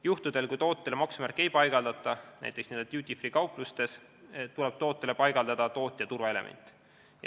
Juhtudel, kui tootele maksumärki ei paigaldata, näiteks nn duty-free-kauplustes, tuleb tootele paigaldada tootja turvaelement.